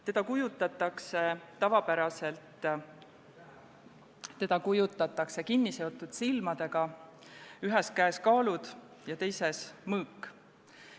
Teda kujutatakse tavapäraselt kinniseotud silmadega, ühes käes kaalud ja teises mõõk.